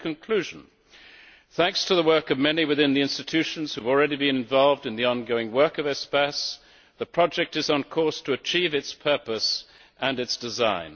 So, in conclusion, thanks to the work of many within the institutions who have already been involved in the ongoing work of Espace, the project is on course to achieve its purpose and its design.